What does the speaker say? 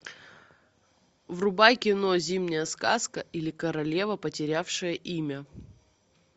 врубай кино зимняя сказка или королева потерявшая имя